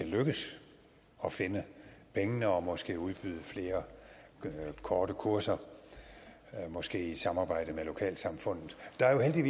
lykkes at finde pengene og måske udbyde flere korte kurser måske i et samarbejde med lokalsamfundet der er